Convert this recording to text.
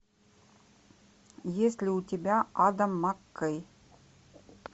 есть ли у тебя адам маккей